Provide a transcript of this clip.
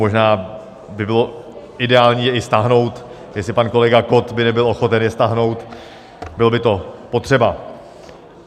Možná by bylo ideální je i stáhnout, jestli pan kolega Kott by nebyl ochoten je stáhnout, bylo by to potřeba.